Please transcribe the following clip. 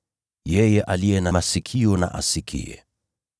Yeye aliye na masikio, na asikie.